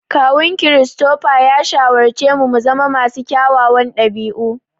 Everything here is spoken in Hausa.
Kawun Christopher ya shawarci mu muzama masu kyawawan ɗabi'u.